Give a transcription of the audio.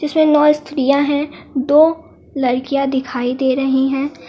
इसमें नौ स्त्रियां हैं दो लड़कियां दिखाई दे रही हैं।